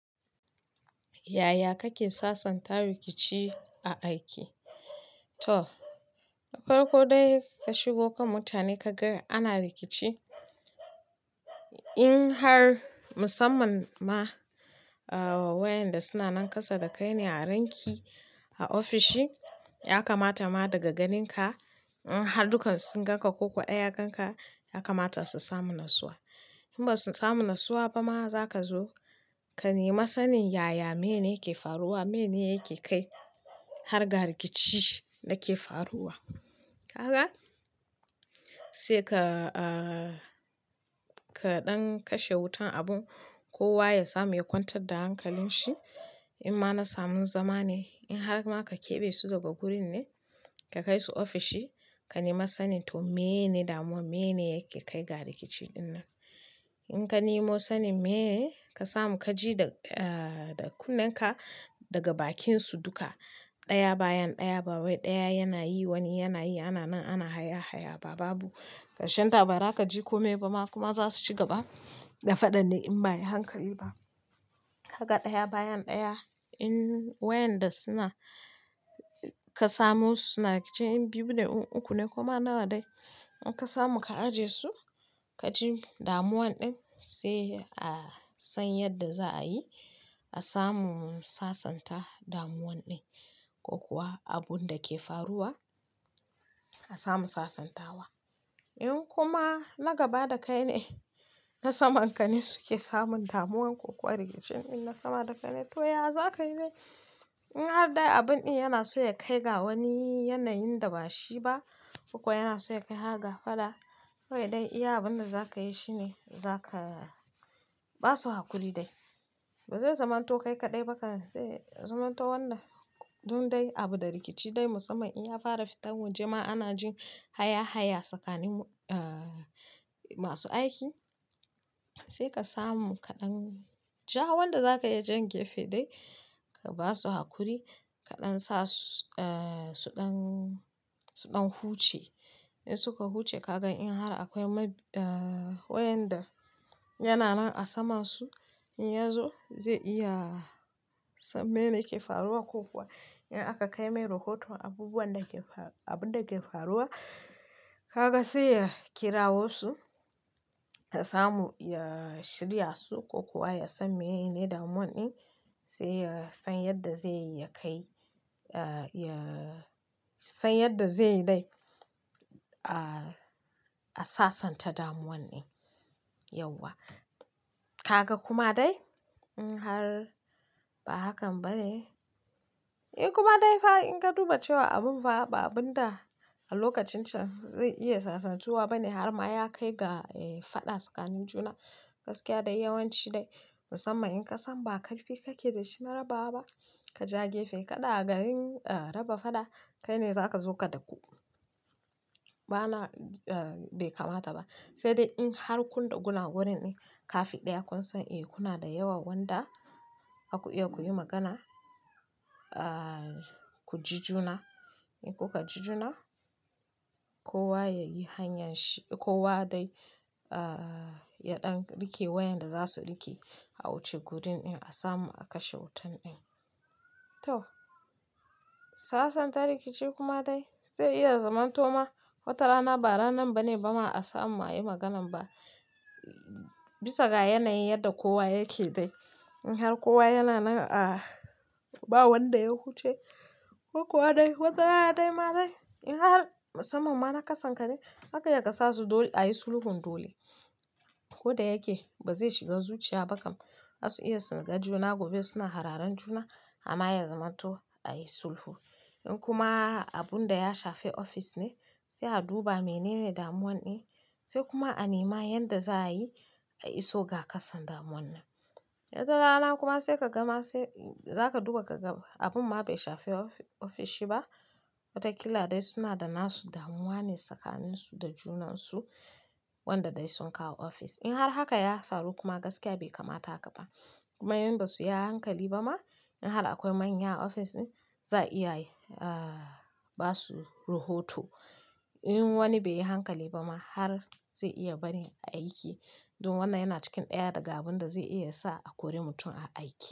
Yaya kake sasanta rikici a aiki? To, farko dai ka shigo kan mutane ka ga ana rikici. In har musamman ma wayanda suna nan kasa da kai ne a ranki, a ofishi ya kamata ma daga ganinka, in har duka sun ganka ko kuwa ya ganka ya kamata su samu nassuwa. In ba su samu nassuwa ba ma, za ka zo ka nema sanin yaya mene yake faruwa, mene yake kai harga rikici da ke faruwa. Ka ga? Sai ka, kaɗan kashe wutan abun kowa ya samu ya kwantar da hankalin shi. In ma na samun zama ne, in har ma ka keɓe su daga gurin ne ka kai su ofishi, ka nema sanin to meyene damuwa, meyene yake kai ga rikici ɗinnan. In ka nemo sanin meye, ka samu kaji da, da kunnenka daga bakinsu duka. Ɗaya bayan ɗaya, ɗaya yana yi, wani yana yi, ana nan ana haya-haya ba babu karshenta ba. Bara ka ji kome ba ma kuma za su ci gaba da faɗa ne in ba ayi hankali ba. Haka ɗaya bayan ɗaya in wayanda suna, ka samu su suna rikici in biyu ne in uku ne kuma nawa dai, in ka samu ka aje su kaji damuwan ɗin sai a san yadda za a yi a samu sasanta damuwan ɗin ko kuwa abun da ke faruwa a samu sasantawa. In kuma na gaba da kai ne, na saman ka ne suke samun damuwan ko kuwa rikicin ɗin na sama da kai ne, to yaya za ka yi dai? In har dai abun ɗin yana so ya kai ga wani yanayin da ba shi ba ko yana so ya kai ga faɗa, to dai iya abin da za ka yi shi ne za ka ba su hakuri dai. Ba zai zamanto kai kaɗai ba ka sai zamanto wannan dun dai abu da rikici dai musamman in ya fara fitar waje ma ana jin haya-haya tsakanin masu aiki. Sai ka samu kaɗan ja wanda za ka iya jan gefe dai ka ba su hakuri kaɗan sa su ɗan, su ɗan huce. In suka huce ka gan in har akwai wayanda yana nan a sama su, in ya zo zai iya san meyene ke faruwa ko kuwa in aka kai mai rahoto abubuwan da ke, abun da ke faruwa, kaga sai ya kirawo su ya samu ya shirya su ko kuwa ya san menene damuwan ɗin sai ya san yadda zai ya kai, ya san yadda zai yi dai a sasanta damuwan ɗin yauwa. Ka ga kuma dai in har ba hakan ba ne, in kuma dai fa in ka duba cewa abun fa ba abun da a lokacin can zai iya sasantuwa ba ne har ma ya kai ga faɗa tsakanin juna gaskiya dai yawanci dai musamman in ƙasan ba ƙarfi kake da shi na raba ba, ka ja gefe kaɗa ga yin raba faɗa kai ne za ka zo ka daku. Ba na bai kamata ba. Sai dai in har kun da guna gurin din kafi ɗaya kun san eh kuna da yawa wanda aka iya kuyi magana, ku ji juna. In kuka ji juna kowa ya yi hanyar shi, kowa dai ya ɗan riƙe wayanda za su riƙe a wuce gurin in a samu a kashe wutan ɗin. To, sasanta rikici kuma dai zai iya zamanto ma watarana ba ranan ba ne ba ma a samu ma ayi maganan ba bisa ga yanayin yadda kowa yake dai. In har kowa yana nan a, ba wanda ya huce ko kuwa dai watarana dai ma dai in har musamman ma na ƙasan ka ne haka ya kasasu dole a yi sulhun dole. Koda yake ba zai shiga zuciya ba kam. Za su iya suna gajuna gobe suna hararan juna amma ya zamanto a yi sulhu. In kuma abun da ya shafe ofis ne sai a duba menene damuwan ɗin sai kuma a nema yadda za a yi a iso ga ƙasan damuwan nan. Wata rana kuma sai ka gama sai za ka duba ka gaba abun ma bai shafe ofishi ba watakila dai suna da nasu damuwa ne tsakaninsu da junansu wanda dai sun kawo ofis. In har haka ya faru kuma gaskiya bai kamata haka ba kuma in basu yi hankali ba ma in har akwai manya a ofis ne za a iya yi basu rohoto. In wani bai yi hankali ba ma har zai iya bari a aiki dun wannan yana cikin ɗaya daga abun da zai iya sa a kori mutum a aiki.